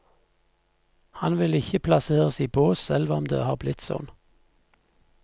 Han vil ikke plasseres i bås, selv om det har blitt sånn.